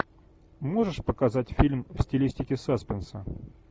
можешь показать фильм в стилистике саспенса